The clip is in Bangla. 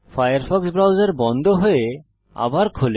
ফায়ারফক্স ব্রাউজার বন্ধ হয়ে আবার খোলে